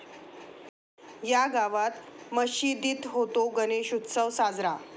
या' गावात मशिदीत होतो गणेशोत्सव साजरा